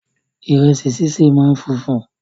Ìrẹsì ṣíṣe máa funfun